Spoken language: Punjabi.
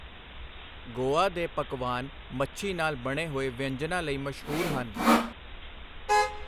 ਗੋਆ ਦੇ ਪਕਵਾਨ, ਮੱਛੀ ਨਾਲ ਬਣੇ ਹੋਏ ਵਿਅੰਜਨਾ ਲਈ ਮਸ਼ਹੂਰ ਹਨ I